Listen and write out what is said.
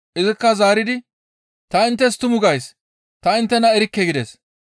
Izikka zaaridi, ‹Ta inttes tumu gays; ta inttena erikke!› gides.